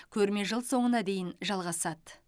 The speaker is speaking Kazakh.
көрме жыл соңына дейін жалғасады